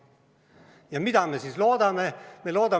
Ja mida me siis loodame?